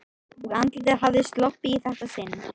Og andlitið hafði sloppið í þetta sinn.